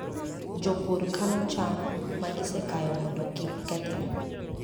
Jopur kano cham ma gisekayo mondo kik kethre.